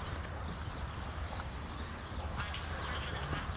அதும் கொழுப்புதான ma'am.